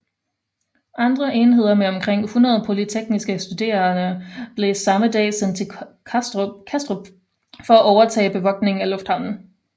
Andre enheder med omkring 100 polytekniske studerende blev samme dag sendt til Kastrup for at overtage bevogtningen af lufthavnen